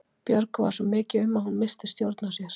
Björgu varð svo mikið um að hún missti stjórn á sér.